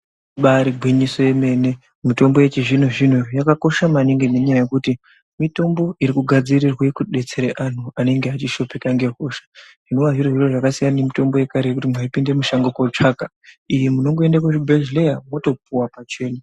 Ibari gwinyiso yemene, mitombo yechizvino zvino yakakosha maningi nenyaya yekuti mitombo irikugadzirirwe kudetsera anhu vanenge vechishupika nehosha, zvinova zviro zvasiyana nemitombo yekare yekuti munhu ayipinde mushango kunotsvaga. Iyi munongoenda kuzvibhedhleya wotopuwa pachena .